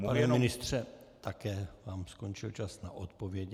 Pane ministře, také vám skončil čas na odpověď.